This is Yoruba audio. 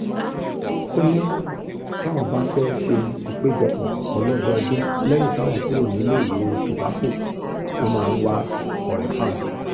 ó ní báwọn bá fẹ́ẹ́ ṣe ìpéjọpọ̀ ọlọ́dọọdún lẹ́yìn táwọn kúrò níléèwé tobacco ló máa ń wáá kọrin fáwọn